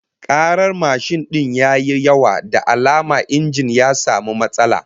Karar mashin din ya yi yawa, da alama injin ya samu matsala